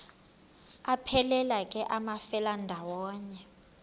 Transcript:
aphelela ke amafelandawonye